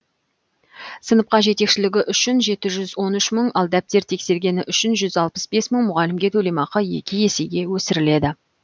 сыныпқа жетекшілігі үшін жеті жүз лн үш мың ал дәптер тексергені үшін жүз алпыс бес мың мұғалімге төлемақы екі есеге өсіріледі